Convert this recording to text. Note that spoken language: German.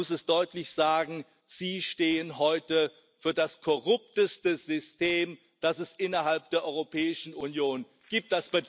Man muss es deutlich sagen Sie stehen heute für das korrupteste System, das es innerhalb der Europäischen Union gibt.